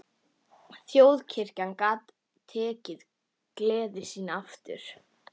Þjóðkirkjan gat tekið gleði sína aftur.